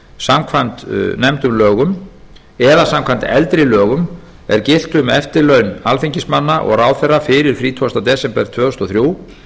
samkvæmt lögum númer hundrað fjörutíu og eitt tvö þúsund og þrjú eða samkvæmt eldri lögum er giltu um eftirlaun alþingismanna og ráðherra fyrir þrítugasti desember tvö þúsund og þrjú